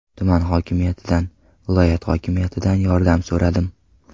Tuman hokimiyatidan, viloyat hokimiyatidan yordam so‘radim.